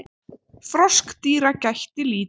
Froskdýra gætti lítið.